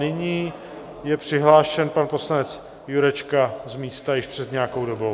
Nyní je přihlášen pan poslanec Jurečka z místa již před nějakou dobou.